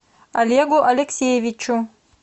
олегу алексеевичу